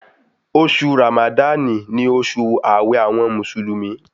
Oṣù Ràmádánì ni oṣù ààwẹ̀ àwọn Mùsùlùmí